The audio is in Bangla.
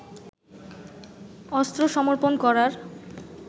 অস্ত্র সমর্পণ করার